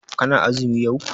Kana azumi yau?